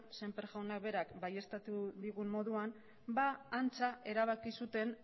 sémper jaunak berak baieztatu digun moduan antza erabaki zuten